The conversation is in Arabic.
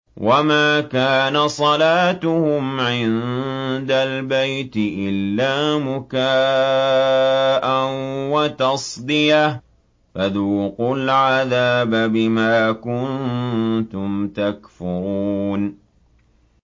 وَمَا كَانَ صَلَاتُهُمْ عِندَ الْبَيْتِ إِلَّا مُكَاءً وَتَصْدِيَةً ۚ فَذُوقُوا الْعَذَابَ بِمَا كُنتُمْ تَكْفُرُونَ